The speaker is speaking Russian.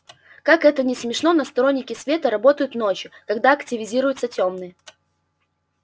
как это ни смешно но сторонники света работают ночью когда активизируются тёмные